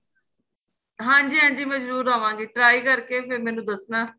ਹਾਂਜੀ ਹਾਂਜੀ ਮੈਂ ਜਰੂਰ ਆਵਾਗੀ try ਕਰਕੇ ਫ਼ਿਰ ਮੈਨੂੰ ਦੱਸਣਾ